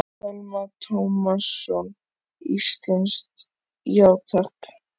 Telma Tómasson: Íslenskt, já takk?